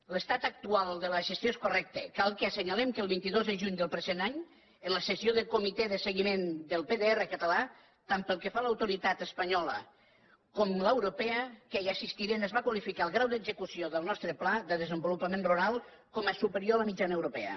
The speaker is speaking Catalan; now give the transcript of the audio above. l’estat actual de la gestió és correcte cal que assenyalem que el vint dos de juny del present any en la sessió del comitè de seguiment del pdr català tant pel que fa a l’autoritat espanyola com a l’europea que hi assistiren es va qualificar el grau d’execució del nostre pla de desenvolupament rural com a superior a la mitjana europea